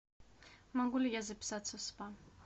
могу ли я записаться в спа